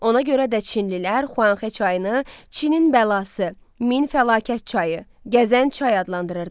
Ona görə də çinlilər Xuanxe çayını Çinin bəlası, min fəlakət çayı, gəzən çay adlandırırdılar.